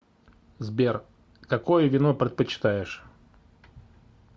сбер какое вино предпочитаешь